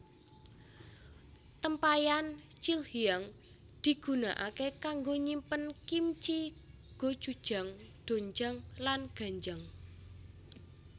Tempayan Chilhyang digunakake kanggo nyimpen kimchi gochujang doenjang lan ganjang